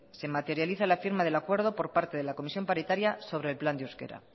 se materializa la firma del acuerdo por parte de la comisión paritaria sobre el plan de euskara